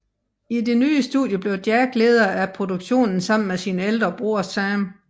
I det nye studie blev Jack leder af produktionen sammen med sin ældre bror Sam